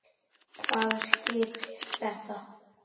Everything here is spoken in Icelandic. Hvaða skip er þetta?